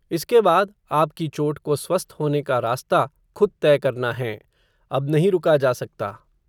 इसके बाद, आपकी चोट को स्वस्थ होने का रास्ता, खुद तय करना हैं, अब नहीं रुका जा सकता